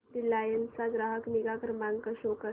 Reliance चा ग्राहक निगा क्रमांक शो कर